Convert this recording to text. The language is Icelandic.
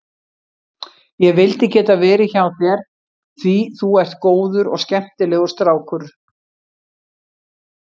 Ég vildi geta verið hjá þér því þú ert góður og skemmtilegur strákur.